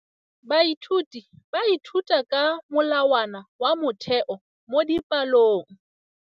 Baithuti ba ithuta ka molawana wa motheo mo dipalong.